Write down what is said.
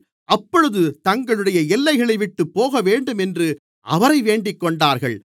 அப்பொழுது தங்களுடைய எல்லைகளைவிட்டுப் போகவேண்டும் என்று அவரை வேண்டிக்கொண்டார்கள்